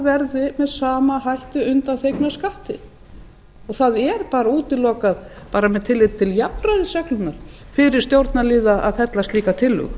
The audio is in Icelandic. verði með sama hætti undanþegnar skatti það er útilokað bara með tilliti til jafnræðisreglunnar fyrir stjórnarliða að fella slíka tillögu